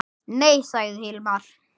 Nei, sagði Hilmar.